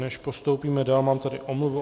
Než postoupíme dál, mám tady omluvu.